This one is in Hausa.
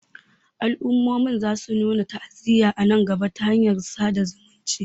al'ummomin za su nuna ta'aziyya a nan gaba ta hanyar sada zumunta